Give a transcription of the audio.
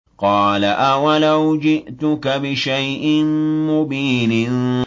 قَالَ أَوَلَوْ جِئْتُكَ بِشَيْءٍ مُّبِينٍ